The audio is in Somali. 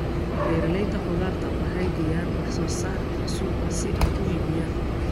Beeralayda khudaarta waxay geeyaan wax soo saarka suuqa si ay u iibiyaan.